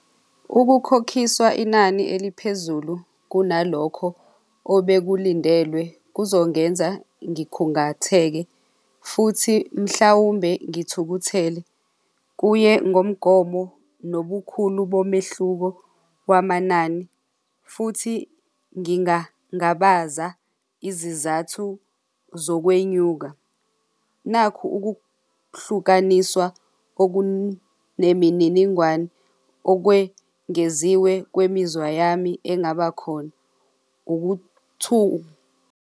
Ukukhokhiswa inani eliphezulu kunalokho obekulindelwe kuzongenza ngikhungatheke futhi mhlawumbe ngithukuthele. Kuye ngomgomo nobukhulu bomehluko kwamanani, futhi ngingangabaza izizathu zokwenyuka nakhu ukuhlukaniswa okunemininingwane okwengeziwe kwemizwa yami engabakhona .